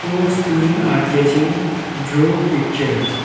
Four students are sketching draw picture.